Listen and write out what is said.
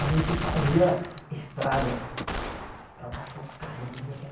A gente fazia estrada para passar os carrinhos e.